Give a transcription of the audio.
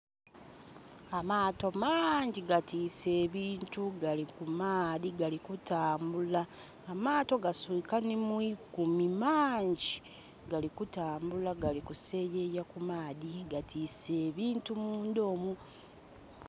Amaato mangi gatiise ebintu gali ku maadhi gali kutambula. Amaato gaswika nhi mu ikumi mangi. Gali kutambula gali kuseyeya ku maadhi. Gatiise ebintu mundha omwo.